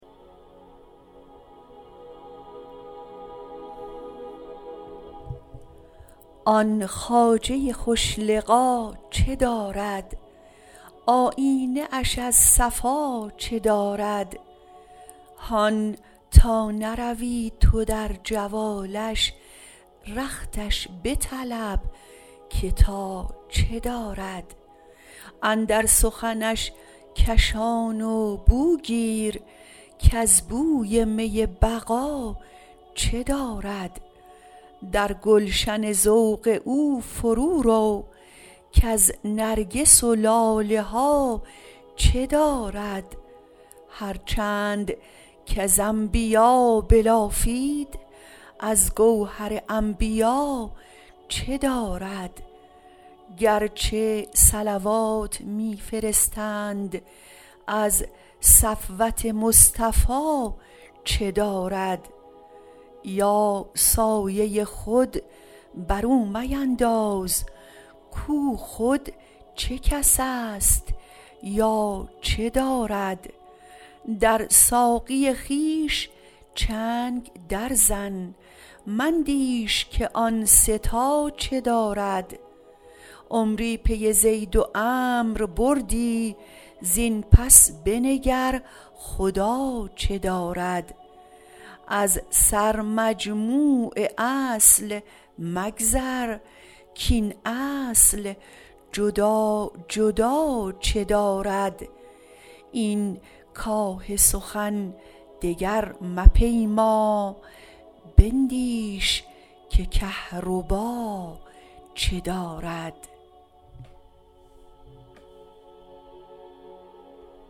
آن خواجه خوش لقا چه دارد آیینه اش از صفا چه دارد هان تا نروی تو در جوالش رختش بطلب که تا چه دارد اندر سخنش کشان و بو گیر کز بوی می بقا چه دارد در گلشن ذوق او فرورو کز نرگس و لاله ها چه دارد هر چند کز انبیا بلافید از گوهر انبیا چه دارد گرچه صلوات می فرستند از صفوت مصطفی چه دارد یا سایه خود بر او مینداز کو خود چه کس است یا چه دارد در ساقی خویش چنگ درزن مندیش که آن سه تا چه دارد عمری پی زید و عمرو بودی زین پس بنگر خدا چه دارد از سرمجموع اصل مگذر کاین اصل جدا جدا چه دارد این کاه سخن دگر مپیما بندیش که کهربا چه دارد